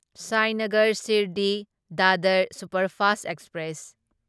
Sainagar Shirdi Dadar superfast express